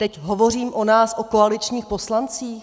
Teď hovořím o nás, o koaličních (?) poslancích.